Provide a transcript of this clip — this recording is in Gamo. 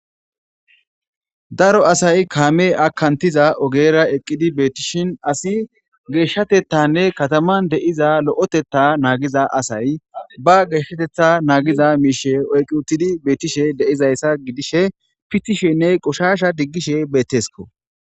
daro asay kaame akantiza ogera eqqidi beetishin asi geeshshatettanne kataman deiza lo7etetta naagiza asay ba geeshshatetha naagiza miishe oyqi uttidi beetishe deizayssa gidishe pittishenne qoshasha diggishe beettesko